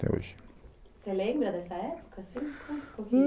Até hoje. Você lembra dessa época, assim, conta um pouquinho? Ah